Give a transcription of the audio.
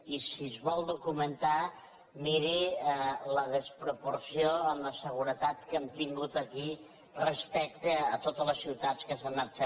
i si es vol documentar miri la desproporció en la seguretat que hem tingut aquí respecte a totes les ciutats on s’han anat fent reunions